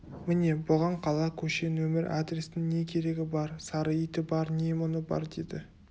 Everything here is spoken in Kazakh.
міне бұған қала көше нөмір адрестің не керегі бар сары иті бар не мұңы бар деді